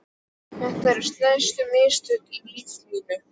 Þetta eru stærstu mistök í lífi mínu.